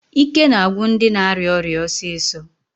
Ike na-agwụ ndị na-arịa ọrịa ọsịsọ.